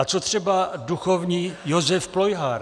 A co třeba duchovní Josef Plojhar?